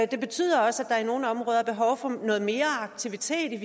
det betyder også at der i nogle områder er behov for noget mere aktivitet